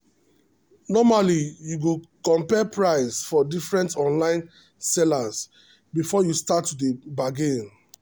normally you go compare price for different online sellers before you start to dey bargain.